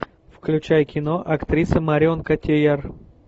включай кино актриса марион котийяр